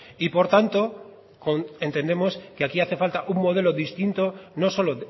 y por tanto entendemos que aquí hace falta un modelo distinto no solo